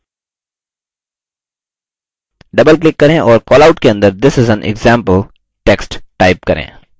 doubleclick करें और callout के अंदर this is an example text type करें